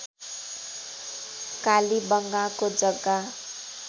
कालीबंगाको जग्गा